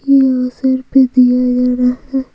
ये अवसर पे दिया जाना था--